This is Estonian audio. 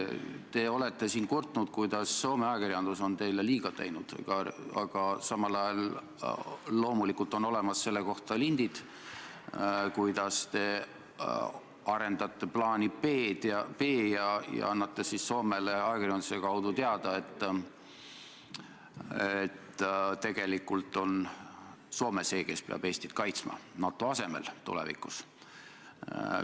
Te olete siin kurtnud, kuidas Soome ajakirjandus on teile liiga teinud, aga samal ajal loomulikult on olemas selle kohta lindid, kuidas te arendate plaani B ja annate Soomele ajakirjanduse kaudu teada, et tegelikult on Soome see, kes tulevikus peab NATO asemel Eestit kaitsma.